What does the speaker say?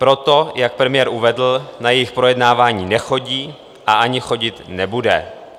Proto, jak premiér uvedl, na jejich projednávání nechodí a ani chodit nebude.